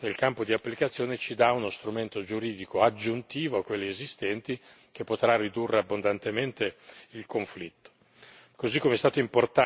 L'estensione del campo d'applicazione ci dà uno strumento giuridico aggiuntivo rispetto a quelli esistenti, che potrà ridurre abbondantemente il conflitto.